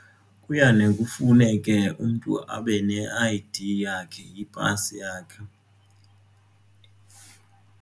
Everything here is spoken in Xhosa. Kuyane kufuneke umntu abe ne-I_D yakhe nepasi yakhe.